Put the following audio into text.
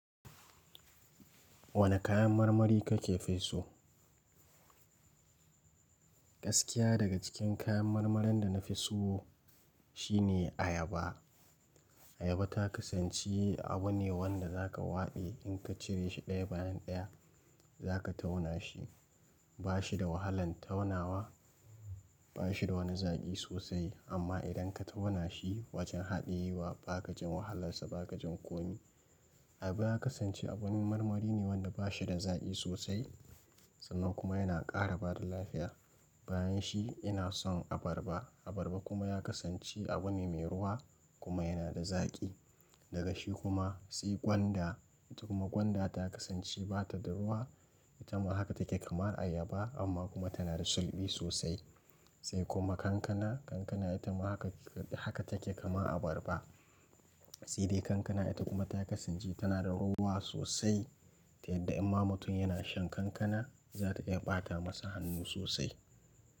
Wane kayan marmari kake fi so? Gaskiya daga cikin kayan marmarin da na fi so shine ayaba. Ayaba ta kasanci abu ne wanda zaka waɗe inkacire shi ɗaya bayan ɗaya zaka tauna shi. Ba shi da wahalan taunawa, ba shi da wani zaƙi sosai amma idan ka tauna shi wajen haɗe wa ba kajin wahalarsa ba kajin komi. Ayaba ya kasanci abun marmari ne wanda ba shi da zaƙi sosai sannan kuma yana ƙara bada lafiya. Bayan shi ina son abarba. Abarba kuma ya kasanci abu ne mai ruwa kuma yana da zaƙi. Daga shi kuma sai gwanda. Kuma gwanda ta kasanci bata da ruwa, ita ma haka take kamar ayaba amma kuma tana da sulɓi sosai. Sai kuma kankana. Kankana ita ma haka take kamar abarba. Sai dai kankana ita kuma ta kasance tana da ruwa sosai. Yadda in ma mutum yana shan kankana za ta iya ɓata masa hannu sosai.